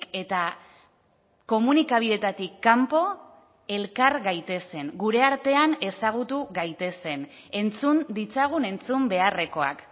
eta komunikabideetatik kanpo elkar gaitezen gure artean ezagutu gaitezen entzun ditzagun entzun beharrekoak